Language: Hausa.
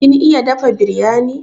Kin iya dafa biryani?